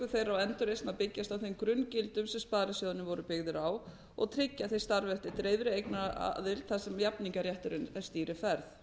þeirra og endurreisn að byggjast á þeim grunngildum sem sparisjóðirnir voru byggðir á og tryggja að þeir starfi eftir dreifðri eignaraðild þar sem jafningjarétturinn stýri ferð